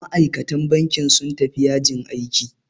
Ma'aikatan bankin sun tafi yajin aiki.